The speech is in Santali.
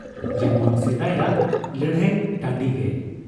ᱡᱮᱢᱚᱱ ᱥᱮᱫᱟᱭᱟᱜ ᱞᱟᱹᱲᱦᱟᱹᱭ ᱴᱟᱺᱰᱤᱜᱮ ᱾